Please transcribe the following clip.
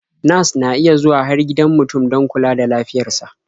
Nas na iya zuwa har gidan mutum don kula da lafiyar sa.